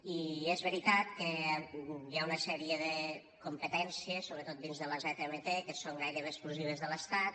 i és veritat que hi ha una sèrie de competències sobretot dins de la zmt que són gairebé exclusives de l’estat